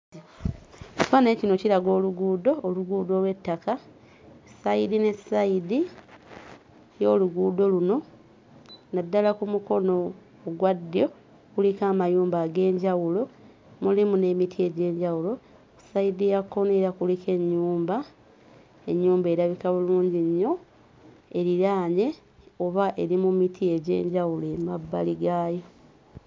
Ekifaananyi kino kiraga oluguudo, oluguudo olw'ettaka ssayidi ne ssayidi y'oluguudo luno naddala ku mukono ogwa ddyo kuliko amayumba ag'enjawulo mulimu n'emiti egy'enjawulo. Ssayidi ya kkono era kuliko ennyumba ennyumba erabika bulungi nnyo eriraanye oba eri mu miti egy'enjawulo emabbali gaayo.